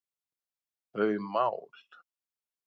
þau mál.